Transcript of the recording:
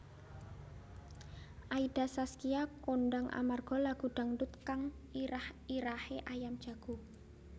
Aida Saskia kondhang amarga lagu dangdut kang irah irahé Ayam Jago